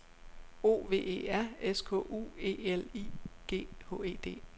O V E R S K U E L I G H E D